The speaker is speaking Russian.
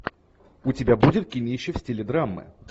у тебя будет кинище в стиле драмы